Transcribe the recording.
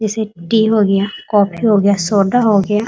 जेसे टी हो गया कोफ़ी हो गया सोडा हो गया।